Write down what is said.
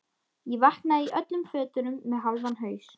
Ég vaknaði í öllum fötunum með hálfan haus.